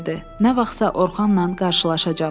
Nə vaxtsa Orxanla qarşılaşacam.